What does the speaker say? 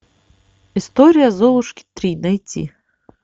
история золушки три найти